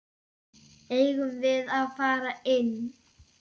Eigum við að fara inn?